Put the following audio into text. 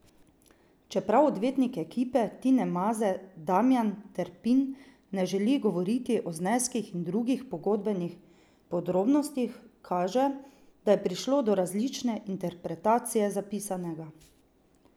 Čeprav odvetnik ekipe Tine Maze Damijan Terpin ne želi govoriti o zneskih in drugih pogodbenih podrobnostih, kaže, da je prišlo do različne interpretacije zapisanega.